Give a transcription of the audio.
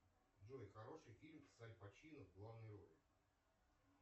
джой хороший фильм с аль пачино в главной роли